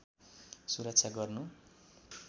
सुरक्षा गर्नु